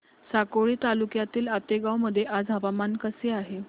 साकोली तालुक्यातील आतेगाव मध्ये आज हवामान कसे आहे